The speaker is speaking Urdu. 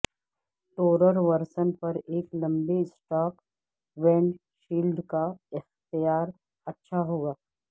ٹورر ورژن پر ایک لمبے اسٹاک ونڈشیلڈ کا اختیار اچھا ہوگا